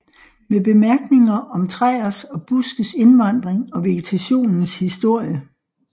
Med Bemærkninger om Træers og Buskes Indvandring og Vegetationens Historie